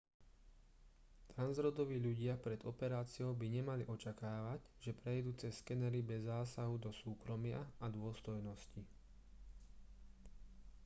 transrodoví ľudia pred operáciou by nemali očakávať že prejdú cez skenery bez zásahu do súkromia a dôstojnosti